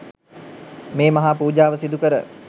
මේ මහා පූජාව සිදුකර